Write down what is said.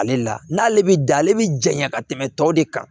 Ale la n'ale bɛ da ale bɛ janya ka tɛmɛ tɔw de kan